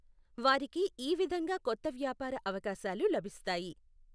వారికి ఈ విధంగా కొత్త వ్యాపార అవకాశాలు లభిస్తాయి.